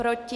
Proti?